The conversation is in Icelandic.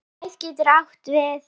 Hæð getur átt við